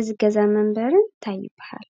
እዚ ገዛን መንበሪን እንታይ ይባሃል?